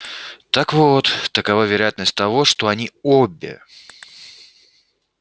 так вот такова вероятность того что они обе